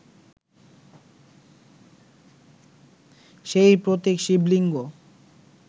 সেই প্রতীক শিবলিঙ্গ